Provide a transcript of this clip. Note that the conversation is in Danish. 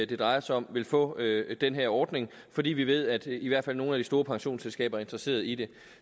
det drejer sig om vil få den her ordning fordi vi ved at i hvert fald nogle af de store pensionsselskaber er interesserede i det